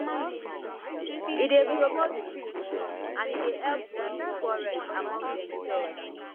e dey promote peace and e dey help reduce quarrel among demself